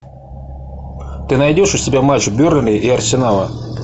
ты найдешь у себя матч бернли и арсенала